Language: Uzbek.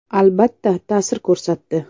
Albatta, ta’sir ko‘rsatdi.